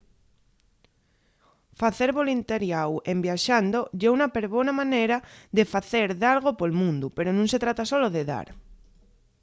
facer voluntariáu en viaxando ye un perbona manera de facer dalgo pol mundu pero nun se trata solo de dar